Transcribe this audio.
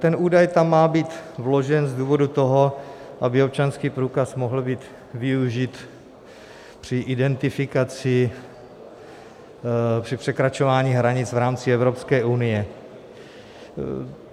Ten údaj tam má být vložen z důvodu toho, aby občanský průkaz mohl být využit při identifikaci při překračování hranic v rámci Evropské unie.